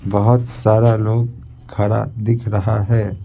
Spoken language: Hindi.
बहुत सारा लोग खड़ा दिख रहा है।